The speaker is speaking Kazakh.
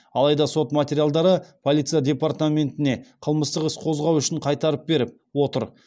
алайда сот материалдарды полиция департаментіне қылмыстық іс қозғау үшін қайтарып беріп отыр